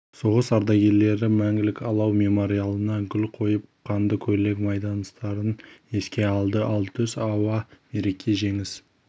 соғыс ардагерлері мәңгілік алау мемориалына гүл қойып қандыкөйлек майдандастарын еске алды ал түс ауа мереке жеңіс